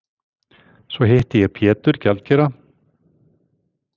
Svo hitti ég Pétur gjaldkera.